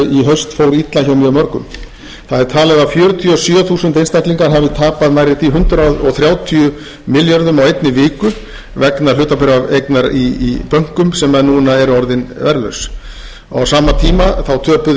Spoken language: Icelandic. haust fór illa hjá mjög mörgum það er talið að fjörutíu og sjö þúsund einstaklingar hafi tapað nærri því hundrað þrjátíu milljörðum á einni viku vegna hlutabréfaeignar í bönkum sem núna eru orðin verðlaus á sama tíma þá töpuðu